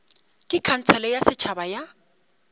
ke khansele ya setšhaba ya